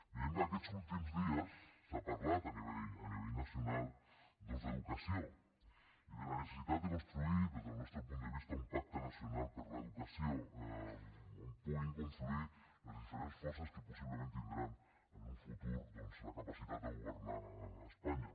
veiem que aquests últims dies s’ha parlat a nivell nacional d’educació i de la necessitat de construir des del nostre punt de vista un pacte nacional per l’educació on puguin confluir les diferents forces que possiblement tindran en un futur la capacitat de governar espanya